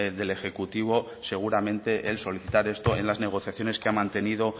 del ejecutivo seguramente el solicitar esto en las negociaciones que mantenido